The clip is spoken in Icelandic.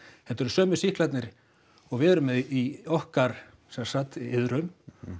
þetta er sömu sýklarnir og við erum með í okkar sem sagt iðrum